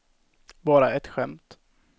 bara ett skämt